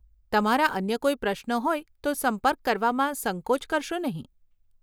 તમારા અન્ય કોઈ પ્રશ્નો હોય તો સંપર્ક કરવામાં સંકોચ કરશો નહીં.